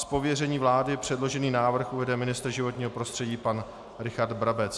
Z pověření vlády předložený návrh uvede ministr životního prostředí pan Richard Brabec.